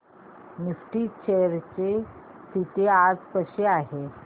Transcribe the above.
Nifty च्या shares ची स्थिती आज कशी आहे